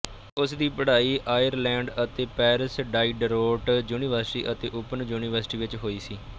ਉਸਦੀ ਪੜ੍ਹਾਈ ਆਇਰਲੈਂਡ ਅਤੇ ਪੈਰਿਸ ਡਾਈਡਰੋਟ ਯੂਨੀਵਰਸਿਟੀ ਅਤੇ ਓਪਨ ਯੂਨੀਵਰਸਿਟੀ ਵਿਚ ਹੋਈ ਸੀ